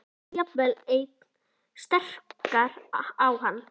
lestur jafnvel enn sterkar á hann.